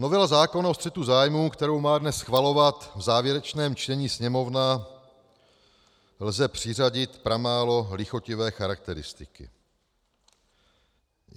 "Novele zákona o střetu zájmů, kterou má dnes schvalovat v závěrečném čtení Sněmovna, lze přiřadit pramálo lichotivé charakteristiky.